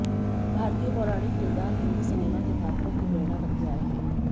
भारतीय पौराणिक किरदार हिंदी सिनेमा के पात्रों की प्रेरणा बनते आए हैं